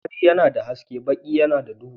Fari yana da haske baki yana da duhu.